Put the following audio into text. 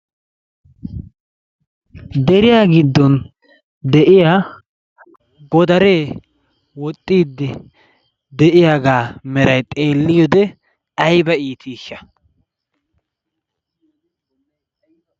Deriyaa giddon de'iyaa godaree woxxiiddi de'iyaaga meray xeelliyode ayba iitiishsha!